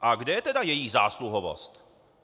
A kde je tedy její zásluhovost?